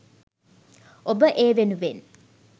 ඔබ ඒවෙනුවෙන්